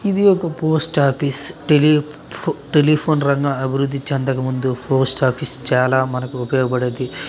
ఇది ఒక post office tele telephone రంగం అభివృద్ధి చెందక ముందు పోస్ట్ ఆఫీస్ చాలా మనకి ఉపయోగపడేది